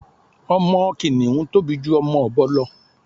Ọmọ kìnìhún tóbi ju ọmọ ọ̀bọ lọ